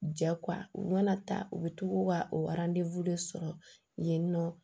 Ja u mana ta u bɛ tugu u ka o de sɔrɔ yen nɔ